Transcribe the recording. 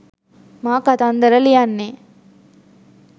මා කතන්දර ලියන්නේ